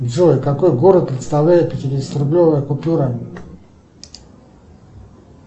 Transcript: джой какой город представляет пятидесятирублевая купюра